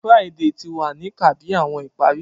Friday ti wa ni kà bi awọn ìparí